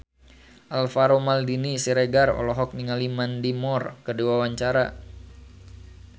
Alvaro Maldini Siregar olohok ningali Mandy Moore keur diwawancara